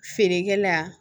Feerekɛla